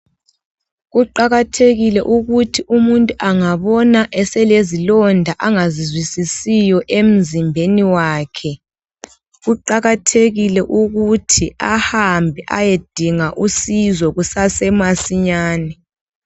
Kuqakathekile ukuthi umuntu angabona selezilonda angazizwisisiyo emzimbeni wakhe. Kuqakathekile ukuthi ahambe eyedinga usizo kusasemasinyane.